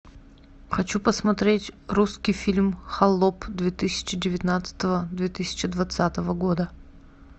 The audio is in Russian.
хочу посмотреть русский фильм холоп две тысячи девятнадцатого две тысячи двадцатого года